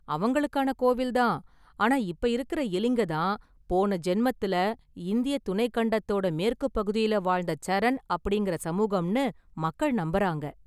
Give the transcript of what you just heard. அவங்களுக்கான கோவில் தான், ஆனா இப்ப இருக்கற எலிங்க தான் போன ஜென்மத்துல இந்திய துணைக் கண்டத்தோட மேற்குப்பகுதியில வாழ்ந்த சரண் அப்படிங்கற சமூகம்னு மக்கள் நம்பறாங்க.